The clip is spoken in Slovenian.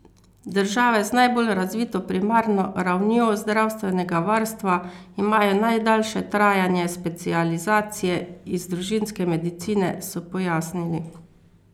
Države z najbolj razvito primarno ravnjo zdravstvenega varstva imajo najdaljše trajanje specializacije iz družinske medicine, so pojasnili.